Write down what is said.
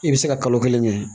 I bɛ se ka kalo kelen kɛ